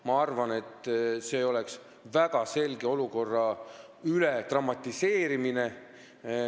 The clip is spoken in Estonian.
Ma arvan, et see oleks olukorra väga selge üledramatiseerimine.